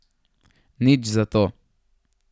Nič zato!